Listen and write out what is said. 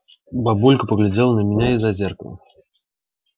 бабулька поглядела на меня из-за зеркала